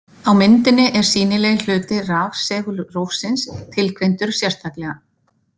Á myndinni er „sýnilegi“ hluti rafsegulrófsins tilgreindur sérstaklega.